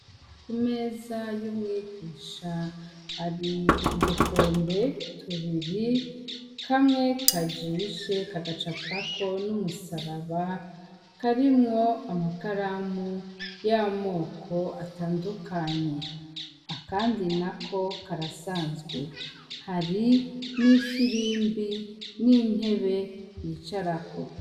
Imeza yumwigisha hari udukombe tubiri kamwe kajishe kagacapako numusaraba karimwo amakaramu yamoko atandukanye akandi nako nagasanzwe hari nifimbi nintebe bicarako